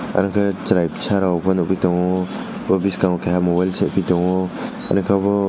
aro khe chwrai bwsarok bw nugi tongo bo biskango kaiha mobile sebui tongo ani ke bw.